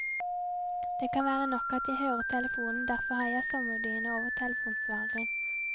Det kan være nok at jeg hører telefonen, derfor har jeg en sommerdyne over telefonsvareren.